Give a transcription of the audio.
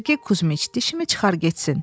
Sergi Kuzmiç, dişimi çıxar getsin.